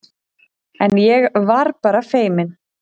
En ég var bara feiminn.